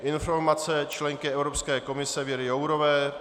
Informace členky Evropské komise Věry Jourové